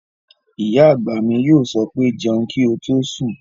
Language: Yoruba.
Ìyá àgbà mi yóò sọ pé "jẹun kí o tó sùn!"